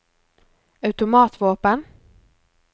automatvåpen